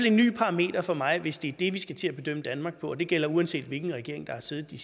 en ny parameter for mig hvis det er det vi skal til at bedømme danmark på og det gælder uanset hvilken regering der har siddet de